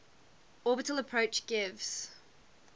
orbital approach gives